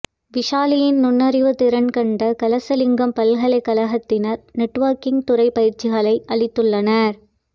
விசாலினியின் நுண்ணறிவுத் திறன் கண்ட கலசலிங்கம் பல்கலைக்கழகத்தினர் நெட்வொர்க்கிங் துறை பயிற்சிகளை அளித்துள்ளனர்